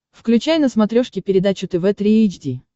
включай на смотрешке передачу тв три эйч ди